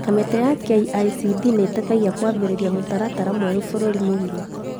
Kamĩtĩ ya KICD nĩteithagia kwambĩrĩria mũtaratara mwerũ bũrũri mũgima